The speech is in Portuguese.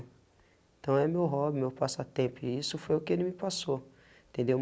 Então é meu hobby, meu passatempo, e isso foi o que ele me passou, entendeu?